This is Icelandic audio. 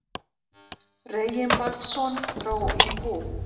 Reginbaldsson dró í bú.